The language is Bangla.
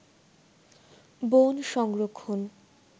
বন সংরক্ষণ